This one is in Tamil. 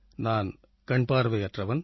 நான் கண்பார்வையற்றவன்